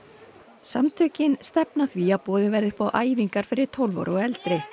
samtökin stefna að því að boðið verði upp á æfingar fyrir tólf ára og eldri